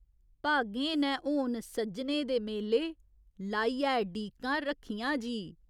भागें नै होन सज्जने दे मेले, लाइयै डीकां रक्खियां जी।